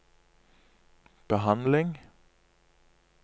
behandling